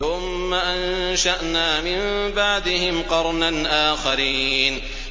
ثُمَّ أَنشَأْنَا مِن بَعْدِهِمْ قَرْنًا آخَرِينَ